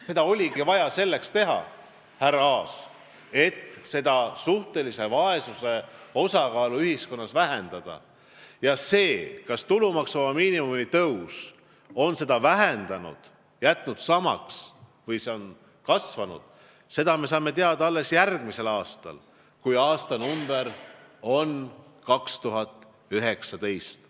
Seda oligi vaja teha selleks, härra Aas, et suhtelise vaesuse osakaalu ühiskonnas vähendada, ja seda, kas tulumaksuvaba miinimumi tõus on vaesust vähendanud, jätnud selle samale tasemele või seda kasvatanud, me saame teada alles järgmisel aastal, kui aastanumber on 2019.